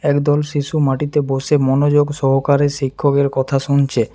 একদল শিশু মাটিতে বসে মনোযোগ সহকারে শিক্ষকের কথা শুনছে।